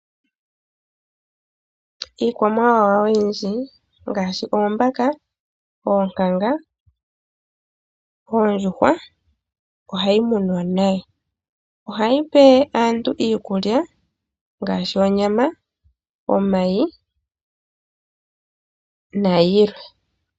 Iikwamawawa oyindji ngaashi oombaka, oonkanga, oondjuhwa ohayi munwa. Ohayi pe aantu iikulya ngaashi onyama, omayi nayilwe.